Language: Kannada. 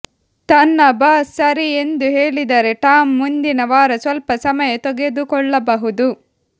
ತನ್ನ ಬಾಸ್ ಸರಿ ಎಂದು ಹೇಳಿದರೆ ಟಾಮ್ ಮುಂದಿನ ವಾರ ಸ್ವಲ್ಪ ಸಮಯ ತೆಗೆದುಕೊಳ್ಳಬಹುದು